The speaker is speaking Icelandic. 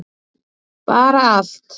bara allt